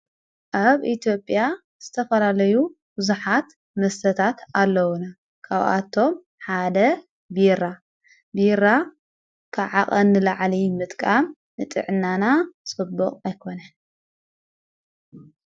ኣብ ኢትኦጵያ ዝተፈራለዩ ውዙኃት መሰታት ኣለዉነ ካውኣቶም ሓደ ቢራ ቢራ ክዓቐ ንላዓለይ ምጥቃም ንጥዕ ናና ሰብቕ ኣይኮነን።